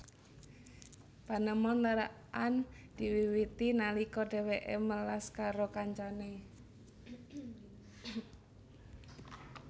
Panemon lerekan diwiwiti nalika dheweke melas karo kancane